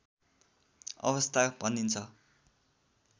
अवस्था भनिन्छ